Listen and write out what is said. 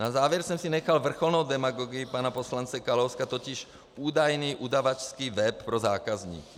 Na závěr jsem si nechal vrcholnou demagogii pana poslance Kalouska, totiž údajný udavačský web pro zákazníky.